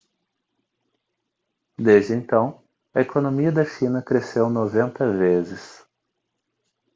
desde então a economia da china cresceu 90 vezes